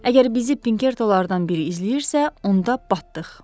Əgər bizi Pinkertolardan biri izləyirsə, onda batdıq.